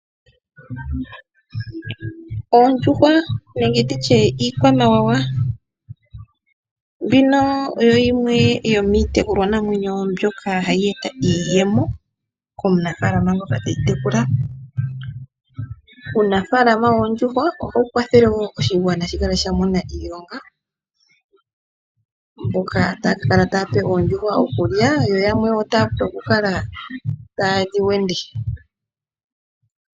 Oodjuhwa nenge nditye iikwamawawa, mbino oyo yimwe yomiitekulwa namwenyo mbyoka hayi eta iiyemo komunafaalama ngoka teyi tekula. Uunafaalama woondjuhwa ohawu kwathele wo oshigwana shikale shamona iilonga, mboka taya kala tayape oondjuhwa okulya yo yamwe taya vulu okukala tayedhiwende.